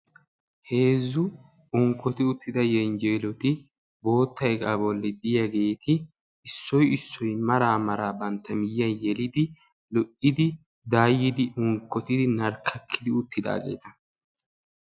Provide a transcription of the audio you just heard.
heezzu unkkoti uttida yelenjjeloti bootta iqqaa bolli diyaageeti issoy issoy mara mara banttaa miyyiyaan yelidaaggeeti lo"idi daayyidi narkkaki uttidaageeta